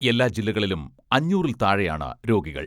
എല്ലാ ജില്ലകളിലും അഞ്ഞൂറിൽ താഴെയാണ് രോഗികൾ.